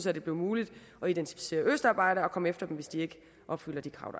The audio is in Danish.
at det blev muligt at identificere østarbejdere og komme efter dem hvis de ikke opfylder de krav